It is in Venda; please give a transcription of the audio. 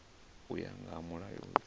u ya nga mulayo uyu